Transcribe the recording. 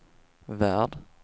värld